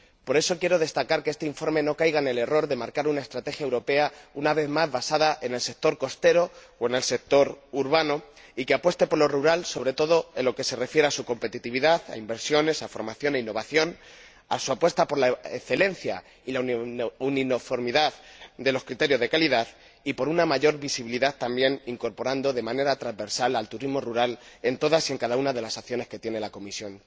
Por eso quiero destacar que este informe no debe caer en el error de marcar una estrategia europea basada, una vez más, en el sector costero o en el sector urbano, y apostar por lo rural, sobre todo en lo que se refiere a su competitividad, a inversiones, a formación, a innovación, a su apuesta por la excelencia y la uniformidad de los criterios de calidad y por una mayor visibilidad, también, incorporando de manera transversal el turismo rural en todas y cada una de las acciones que lleva a cabo la Comisión.